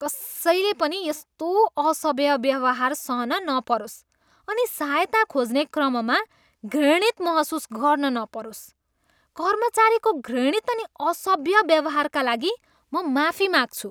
कसैले पनि यस्तो असभ्य व्यवहार सहन नपरोस् अनि सहायता खोज्ने क्रममा घृणित महसुस गर्न नपरोस्। कर्मचारीको घृणित अनि असभ्य व्यवहारका लागि म माफी माग्छु।